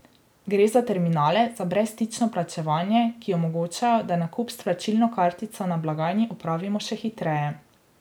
Gre za terminale za brezstično plačevanje, ki omogočajo, da nakup s plačilno kartico na blagajni opravimo še hitreje.